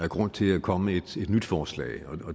grund til at komme med et nyt forslag